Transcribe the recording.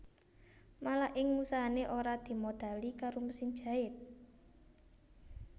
Malah ing usahané ora dimodhali karo mesin jait